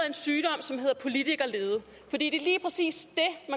en sygdom som hedder politikerlede for det er lige præcis